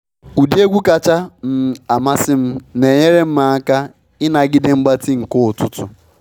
Ụdị egwu kacha um amasị m na enyere m aka ịnagide mgbatị nke ụtụtụ.